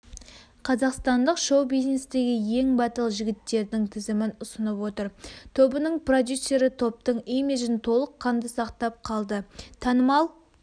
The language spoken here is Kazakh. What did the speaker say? қазақстандық шоу-бизнестегі ең батыл жігіттердің тізімін ұсынып отыр тобының продюсері топтың имиджін толыққанды сақтап қалды танымал